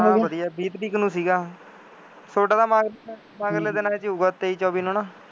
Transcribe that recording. ਹਾਂ ਵਧੀਆ ਤੀਹ ਤਾਰੀਖ ਨੂੰ ਸੀਗਾ, ਤੁਹਾਡਾ ਤਾਂ ਮਗਰਲੇ, ਮਗਰਲੇ ਦਿਨਾਂ ਚ ਹੀ ਹੋਊਗਾ, ਤੇਈ, ਚੌਵੀਂ ਨੂੰ ਹੈ ਨਾ,